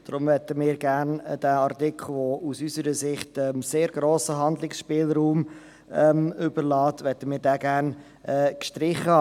Deshalb möchten wir diesen Artikel, der aus unserer Sicht sehr grossen Handlungsspielraum offenlässt, gerne gestrichen haben.